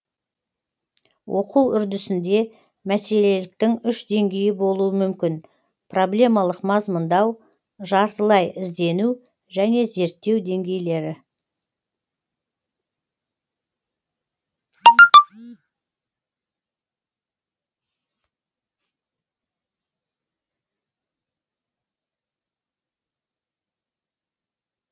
оқу үрдісінде мәселеліктің үш деңгейі болуы мүмкін проблемалық мазмұндау жартылай іздену және зерттеу деңгейлері